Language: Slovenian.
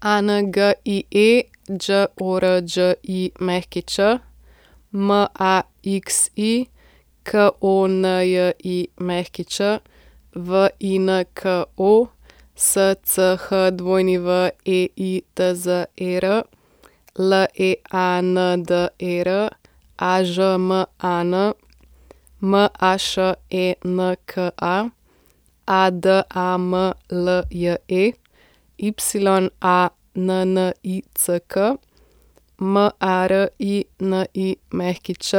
Angie Đorđić, Maxi Konjić, Vinko Schweitzer, Leander Ažman, Mašenka Adamlje, Yannick Marinić,